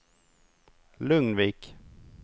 Lugnvik